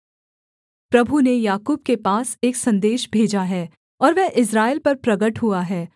प्रभु ने याकूब के पास एक सन्देश भेजा है और वह इस्राएल पर प्रगट हुआ है